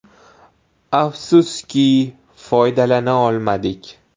Afsuski, foydalana olmadik.